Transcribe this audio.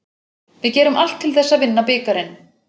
Við gerum allt til þess að vinna bikarinn.